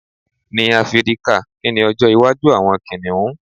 ní áfíríkà, ki ni ọjọ iwaju awọn kìnìún